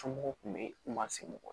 Somɔgɔw kun be yen kuma sigi